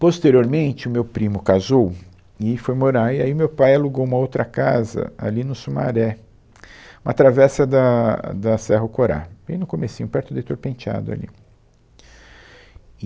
Posteriormente, o meu primo casou e foi morar, aí aí o meu pai alugou uma outra casa ali no Sumaré, uma travessa da da Cerro Corá, bem no comecinho, perto da Heitor Penteado ali.